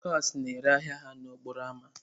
Họkas na-ere ahịa ha n'okporo ámá